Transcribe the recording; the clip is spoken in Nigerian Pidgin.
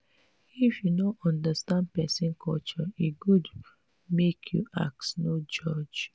if you no understand pesin culture e good make you ask no judge.